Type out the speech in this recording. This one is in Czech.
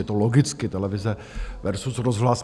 Je to logicky televize versus rozhlas.